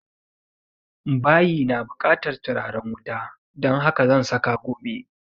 Bayi na bukatan turaren wuta don haka zan saka gobe